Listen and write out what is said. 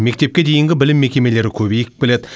мектепке дейінгі білім мекемелері көбейіп келеді